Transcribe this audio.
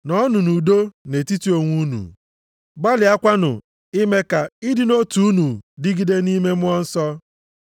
Nọọnụ nʼudo nʼetiti onwe unu gbalịakwanụ ime ka ịdị nʼotu unu dịgide nʼime Mmụọ Nsọ.